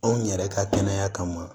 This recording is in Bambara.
Anw yɛrɛ ka kɛnɛya kama